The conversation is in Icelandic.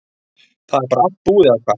Það er bara allt búið eða hvað?